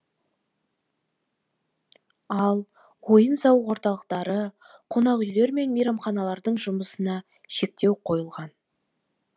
ал ойын сауық орталықтары қонақүйлер мен мейрамханалардың жұмысына шектеу қойылған